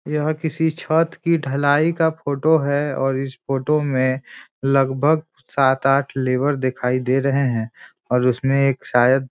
यह किसी छत की ढलाई का फोटो है और इस फोटो में लगभग सात आठ लेबर दिखाई दे रहे हैं और उसमें एक शायद --